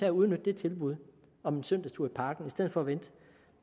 at udnytte det tilbud om en søndagstur i parken i stedet for at vente